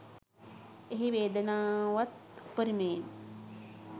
එහි වේදනාවත් උපරිමයෙන්